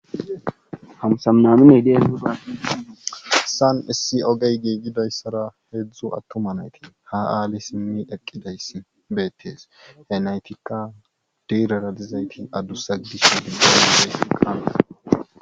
hamsamnaminey dee san issi ogey giigidayssara heedzdzu attuma nayti ha7aali simmi eqqidayssi beettees he naytikka diiraralizayti addussa disha dibbaynae qaana